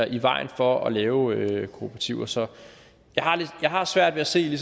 i vejen for at lave kooperativer så jeg har svært ved at se